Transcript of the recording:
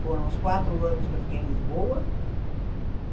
Foram os quatro anos que eu fiquei em Lisboa.